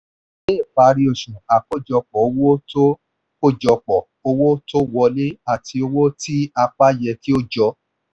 ní ìparí oṣù àkójọpọ̀ owó tó àkójọpọ̀ owó tó wọlé àti owó tí a pa yẹ kí ó jọ.